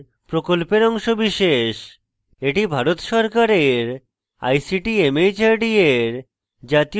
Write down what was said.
এটি ভারত সরকারের ict mhrd এর জাতীয় শিক্ষা mission দ্বারা সমর্থিত